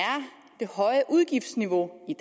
det høje udgiftsniveau i